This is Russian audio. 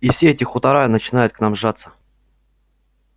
и все эти хутора начинают к нам жаться